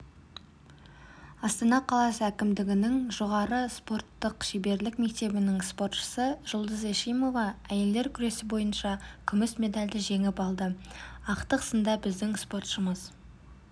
астана қаласы әкімдігінің жоғары спорттық шеберлік мектебінің спортшысы жұлдыз эшимова әйелдер күресі бойынша күміс медальді жеңіп алды ақтық сында біздің спортшымыз